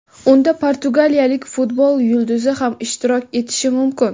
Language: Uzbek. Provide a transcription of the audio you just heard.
Unda portugaliyalik futbol yulduzi ham ishtirok etishi mumkin.